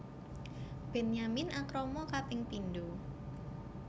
Benyamin akrama kaping pindho